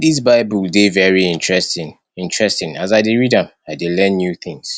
dis bible dey very interesting interesting as i dey read am i dey learn new things